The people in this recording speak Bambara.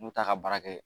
N'u t'a ka baara kɛ